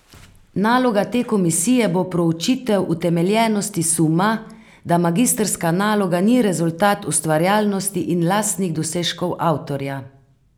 Naloga te komisije bo proučitev utemeljenosti suma, da magistrska naloga ni rezultat ustvarjalnosti in lastnih dosežkov avtorja.